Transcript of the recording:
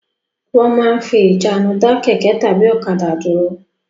Wọ́n máa ń fi ìjánu dá kẹ̀kẹ́ tàbí ọ̀kadà dúró.